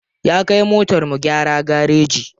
Ya kai motar mu gyara gareji.